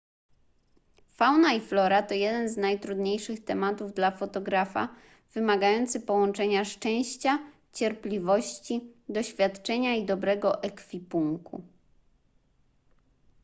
fauna i flora to jeden z najtrudniejszych tematów dla fotografa wymagający połączenia szczęścia cierpliwości doświadczenia i dobrego ekwipunku